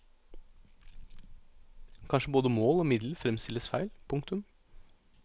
Kanskje både mål og middel fremstilles feil. punktum